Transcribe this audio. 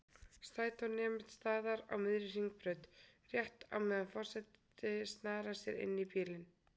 Strætó nemur staðar á miðri Hringbraut, rétt á meðan forseti snarar sér inní bílinn.